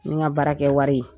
N ka baarakɛwari